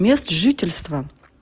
место жительства